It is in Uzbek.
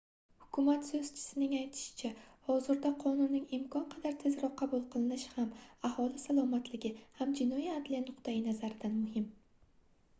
hukumat soʻzchisining aytishicha hozirda qonunning imkon qadar tezroq qabul qilinishi ham aholi salomatligi ham jinoiy adliya nuqtayi nazaridan muhim